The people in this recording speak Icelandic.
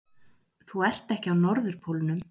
Þú ert ekki á norðurpólnum!